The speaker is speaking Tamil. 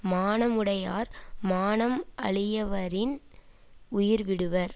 மானமுடையார் மானம் அழியவரின் உயிர்விடுவர்